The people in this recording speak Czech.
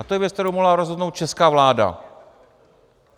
A to je věc, kterou mohla rozhodnout česká vláda.